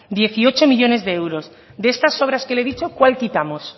dieciocho millónes de euros de estas obras que le he dicho cuál quitamos